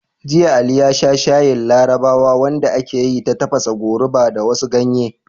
Jiya, Ali ya sha shayin Larabawa wanda aka yi ta tafasa goruba da wasu ganye.